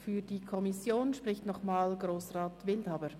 Für die Kommission spricht nochmals Grossrat Wildhaber.